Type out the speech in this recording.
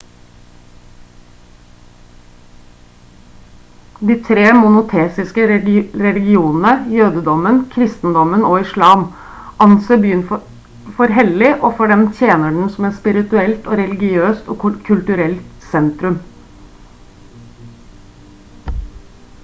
de tre monoteistiske religionene jødedommen kristendommen og islam anser byen for hellig og for dem tjener den som et spirituelt religiøst og kulturelt sentrum